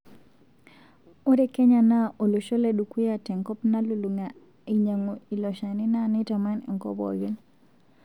Ore Kenya naa olosho le dukuya tenkop nalulunga ainyangu ilo shani naa neitaman enkol pokin.